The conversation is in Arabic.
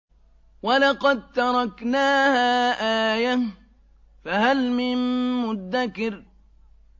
وَلَقَد تَّرَكْنَاهَا آيَةً فَهَلْ مِن مُّدَّكِرٍ